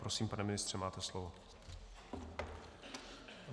Prosím, pane ministře, máte slovo.